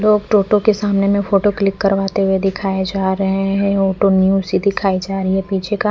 लोग टोटो के सामने में फोटो क्लिक करवाते हुए दिखाई जा रहे हैं ऑटो न्यू सी दिखाई जा रही है पीछे का--